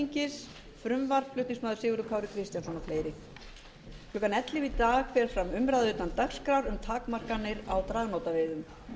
klukkan ellefu í dag fer fram umræða utan dagskrár um takmarkanir á dragnótaveiðum